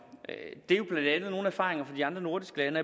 er blandt andet nogle erfaringer fra de andre nordiske lande